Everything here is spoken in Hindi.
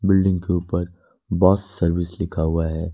बिल्डिंग के ऊपर बॉश सर्विस लिखा हुआ है।